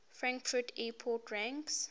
frankfurt airport ranks